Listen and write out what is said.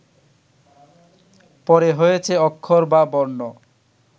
পরে হয়েছে অক্ষর বা বর্ণ